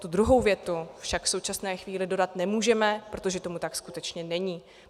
Tu druhou větu však v současné chvíli dodat nemůžeme, protože tomu tak skutečně není.